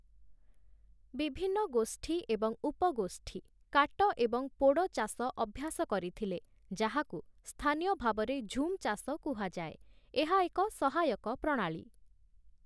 ବିଭିନ୍ନ ଗୋଷ୍ଠୀ ଏବଂ ଉପଗୋଷ୍ଠୀ କାଟ-ଏବଂ-ପୋଡ଼ ଚାଷ ଅଭ୍ୟାସ କରିଥିଲେ, ଯାହାକୁ ସ୍ଥାନୀୟ ଭାବରେ ଝୁମ୍ ଚାଷ କୁହାଯାଏ । ଏହା ଏକ ସହାୟକ ପ୍ରଣାଳୀ ।